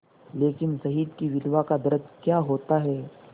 लेकिन शहीद की विधवा का दर्द क्या होता है